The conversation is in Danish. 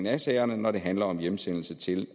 af sagerne når det handler om hjemsendelse til